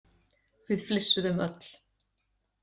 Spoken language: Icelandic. Við flissuðum öll.